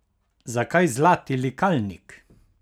Zakaj Zlati likalnik?